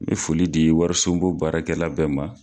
N be foli di wariso bon baarakɛla bɛɛ ma